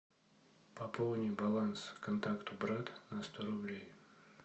пополни баланс контакту брат на сто рублей